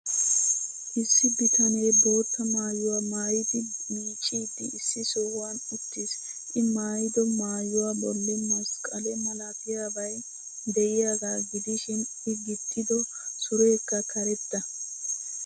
Issi bitanee bootta maayuwa maayidi miicciiddi issi sohuwan uttis. I maayido maayuwa bolli masqqalee malatiyabay de'iyaagaa gidishin I gixxido sureekka karetta.